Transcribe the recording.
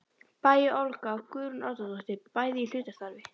Bæ og Olga Guðrún Árnadóttir, bæði í hlutastarfi.